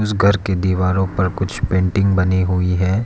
घर की दीवारों पर कुछ पेंटिंग बनी हुई है।